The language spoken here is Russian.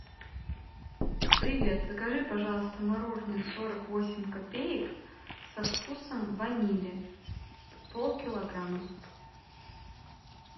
привет закажи пожалуйста мороженое сорок восемь копеек со вкусом ванили полкилограмма